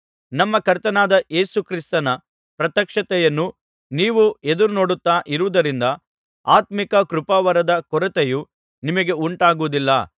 ನಮ್ಮ ಕರ್ತನಾದ ಯೇಸು ಕ್ರಿಸ್ತನ ಪ್ರತ್ಯಕ್ಷತೆಯನ್ನು ನೀವು ಎದುರುನೋಡುತ್ತಾ ಇರುವುದರಿಂದ ಆತ್ಮೀಕ ಕೃಪಾವರದ ಕೊರತೆಯೂ ನಿಮಗೆ ಉಂಟಾಗುವುದಿಲ್ಲ